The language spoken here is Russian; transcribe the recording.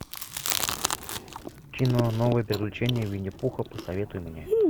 кино новые приключения винни пуха посоветуй мне